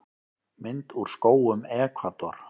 Mynd úr skógum Ekvador.